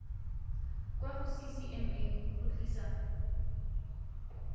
kwa go ccma go tlisa